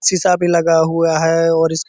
शीशा भी लगा हुआ हैं और इसके --